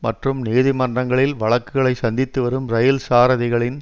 மற்றும் நீதிமன்றங்களில் வழக்குகளை சந்தித்து வரும் இரயில் சாரதிகளின்